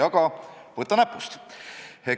Aga võta näpust!